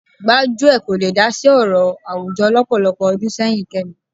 Gbájúẹ̀ kò le dá sí ọ̀rọ̀ àwùjọ lọ́pọ̀lọpọ̀ ọdún sẹ́yìn Kẹ́mi